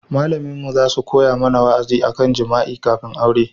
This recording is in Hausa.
Malaminmu za su mana wa'azi a kan jima'i kafin aure